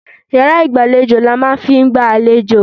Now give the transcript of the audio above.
Iyàrá ìgbàlejò làá máa n fi n gba àlejò